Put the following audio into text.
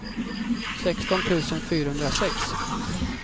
sexton tusen fyrahundrasex